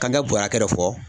K'an ka bɔ hakɛ dɔ fɔ